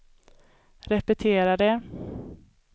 repetera det